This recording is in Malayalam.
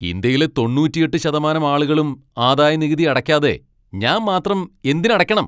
ഇന്ത്യയിലെ തൊണ്ണൂറ്റിയെട്ട് ശതമാനം ആളുകളും ആദായനികുതി അടയ്ക്കാതെ ഞാൻ മാത്രം എന്തിന് അടയ്ക്കണം?